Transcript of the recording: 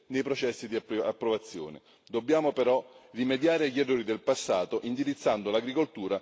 Dobbiamo però rimediare agli errori del passato, indirizzando l'agricoltura verso pratiche sostenibili.